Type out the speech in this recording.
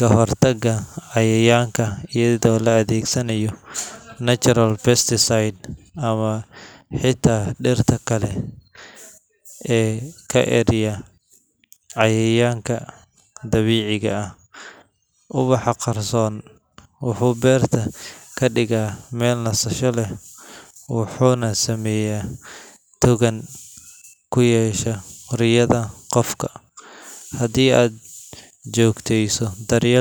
kahortaga cayayanka iyadho la adhegsanayo natural best site ama xita dirta kale ee ka eriya cayayanka dabiciga ah, ubaxa qarson wuxuu beerta kadiga meel nasasho leh wuxuna sameya riyadha qofka, hadii aad jogteyso daryelka.